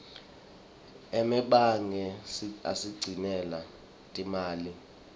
emebange asigcinela timali